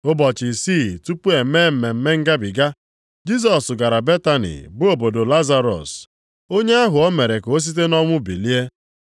Ụbọchị isii tupu e mee Mmemme Ngabiga, Jisọs gara Betani bụ obodo Lazarọs, onye ahụ ọ mere ka o site nʼọnwụ bilie.